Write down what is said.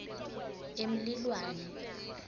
emlilwane